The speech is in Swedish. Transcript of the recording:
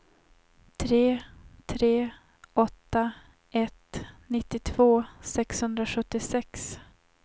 tre tre åtta ett nittiotvå sexhundrasjuttiosex